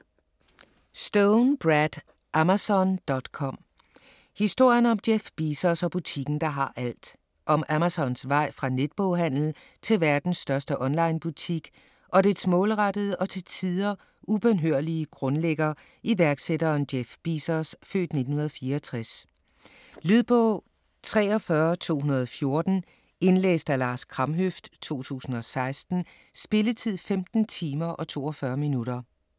Stone, Brad: Amazon.com: historien om Jeff Bezos og butikken der har alt Om Amazons vej fra netboghandel til verdens største onlinebutik og dets målrettede og til tider ubønhørlige grundlægger, iværksætteren Jeff Bezos (f. 1964). Lydbog 43214 Indlæst af Lars Kramhøft, 2016. Spilletid: 15 timer, 42 minutter.